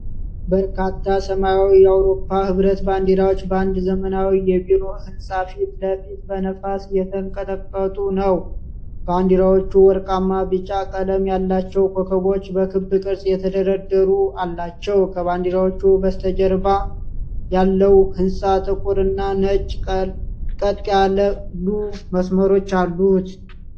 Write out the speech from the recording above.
በርካታ ሰማያዊ የአውሮፓ ኅብረት ባንዲራዎች በአንድ ዘመናዊ የቢሮ ሕንፃ ፊት ለፊት በነፋስ እየተንቀጠቀጡ ነው። ባንዲራዎቹ ወርቃማ ቢጫ ቀለም ያላቸው ኮከቦች በክብ ቅርፅ የተደረደሩ አላቸው። ከባንዲራዎቹ በስተጀርባ ያለው ሕንፃ ጥቁር እና ነጭ ቀጥ ያሉ መስመሮች አሉት።